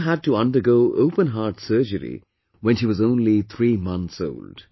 She also had to undergo open heart surgery when she was only three months old